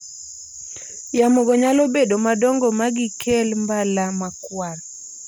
Yamo go nyalo bedo madongo magikel mbala makwar